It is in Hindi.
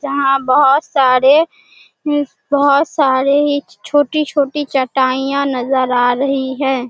जहाँ बहोत सारे अम बहोत सारे ही छोटी-छोटी चटाईयां नजर आ रही है।